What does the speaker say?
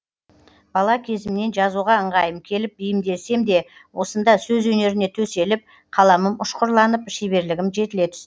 бала кезімнен жазуға ыңғайым келіп бейімделсем де осында сөз өнеріне төселіп қаламым ұшқырланып шеберлігім жетіле түсті